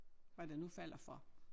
Hvad der nu falder for